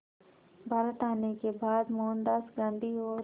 भारत आने के बाद मोहनदास गांधी और